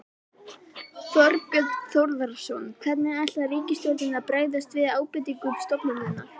Þorbjörn Þórðarson: Hvernig ætlar ríkisstjórnin að bregðast við ábendingum stofnunarinnar?